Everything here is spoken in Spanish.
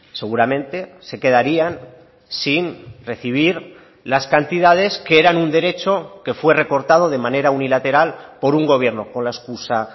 seguramente se quedarían sin recibir las cantidades que eran un derecho que fue recortado de manera unilateral por un gobierno con la excusa